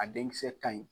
A den kisɛ ka ɲi